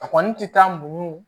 A kɔni tɛ taa muɲu